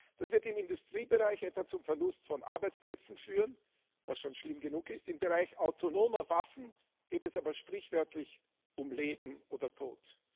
Das wird im Industriebereich etwa zum Verlust von Arbeitsplätzen führen was schon schlimm genug ist im Bereich autonomer Waffen geht es aber sprichwörtlich um Leben oder Tod.